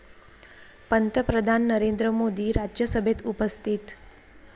पंतप्रधान नरेंद्र मोदी राज्यसभेत उपस्थित